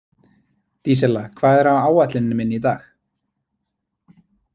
Dísella, hvað er á áætluninni minni í dag?